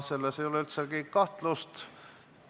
Selles ei ole üldsegi kahtlust.